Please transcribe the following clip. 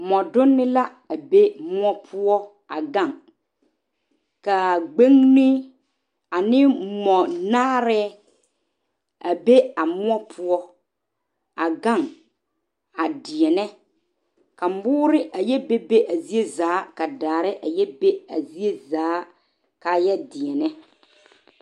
Mͻdonne la be mõͻ poͻ a gaŋ. Ka a gbeŋini ane mͻnaarԑԑ a be a mõͻ poͻ a gaŋ a deԑnԑ. ka mõõre a yԑ bebe a zie zaa ka daare a yԑ be a zie zaa kaa yԑ deԑnԑ.